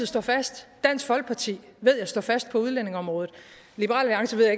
står fast dansk folkeparti ved jeg står fast på udlændingeområdet liberal alliance ved